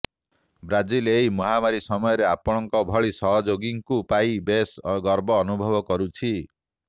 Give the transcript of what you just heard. Brazil ଏହି ମହମାରୀ ସମୟରେ ଆପଣଙ୍କ ଭଳି ସହଯୋଗୀଙ୍କୁ ପାଇ ବେଶ ଗର୍ବ ଅନୁଭବ କରୁଛି